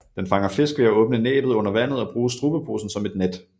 Den fanger fisk ved at åbne næbbet under vandet og bruge strubeposen som et net